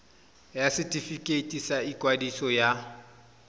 ya setefikeiti sa ikwadiso ya